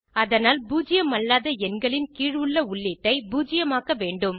அதனால் பூஜ்யமல்லாத எண்களின் கீழ் உள்ள உள்ளீட்டை பூஜ்யமாக்க வேண்டும்